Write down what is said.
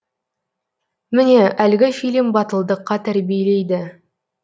міне әлгі фильм батылдыққа тәрбиелейді